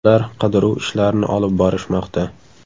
Ular qidiruv ishlarini olib borishmoqda.